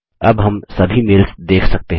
अब हम सभी मेल्स देख सकते हैं